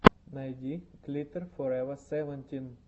найди глиттер форева севентин